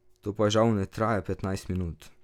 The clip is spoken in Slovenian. To pa žal ne traja petnajst minut.